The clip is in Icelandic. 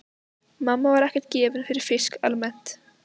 Mamma var ekkert gefin fyrir fisk almennt.